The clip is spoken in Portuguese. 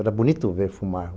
Era bonito ver fumar.